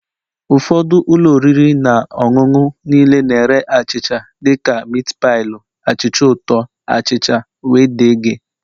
Ụfọdụ ụlọ oriri na ọṅụṅụ niile na-ere achịcha dị ka miti pailu, achịcha ụtọ, achịcha wdg